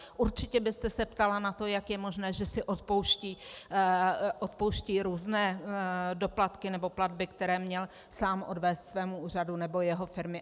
Určitě byste se ptala na to, jak je možné, že si odpouští různé doplatky nebo platby, které měl sám odvést svému úřadu nebo jeho firmy.